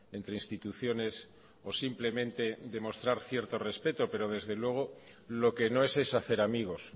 entre instituciones o simplemente de mostrar cierto respeto pero desde luego lo que no es es hacer amigos